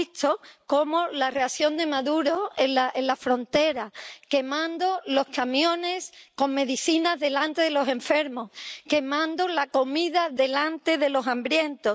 hemos visto la reacción de Maduro en la frontera, quemando los camiones con medicinas delante de los enfermos, quemando la comida delante de los hambrientos...